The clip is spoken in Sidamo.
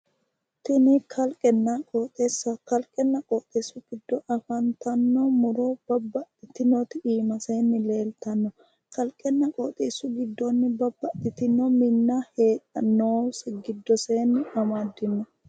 Tini kalqenna qooxeessaho kalqenna qooxeessu giddo afantanno muro babbaxxitinoti iimasenni leeltanno kalqenna qooxeessu giddonni babbaxxitino minna heedhannosi giddosenni amaddino